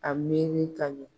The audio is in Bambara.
A miiri ka ɲɛ.